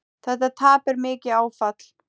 Þetta tap er mikið áfall.